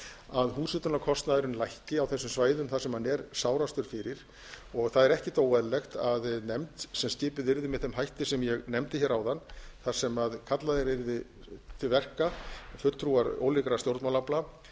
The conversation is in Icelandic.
að húshitunarkostnaðurinn lækki á þessum svæðum þar sem hann er sárastur fyrir og það er ekkert óeðlilegt að nefnd sem skipuð yrði með þeim hætti sem ég nefndi hér áðan þar sem kallaðir yrðu til verka fulltrúar ólíkra stjórnmálaafla